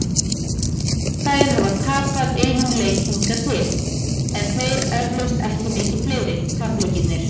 Þær hafa tapað einum leik hingað til, en þeir eflaust ekki mikið fleiri- tapleikirnir.